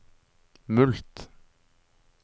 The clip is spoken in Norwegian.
mulkt